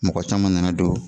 Mɔgɔ caman nana don.